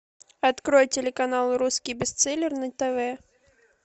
открой телеканал русский бестселлер на тв